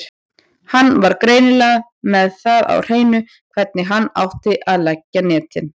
Hann var greinilega með það á hreinu hvernig hann átti að leggja netin.